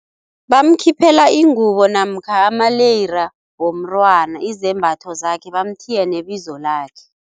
Bamkhiphela ingubo namkha amaleyira womntwana, izembatho zakhe bamuthiye nebizo lakhe.